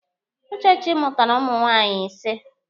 Uchechi mụtara ụmụ nwaanyị ise.